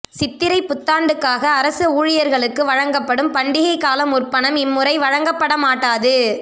சித்திரை புத்தாண்டுக்காக அரச ஊழியர்களுக்கு வழங்கப்படும் பண்டிகை கால முற்பணம் இம்முறை வழங்கப்பட மாட்டாது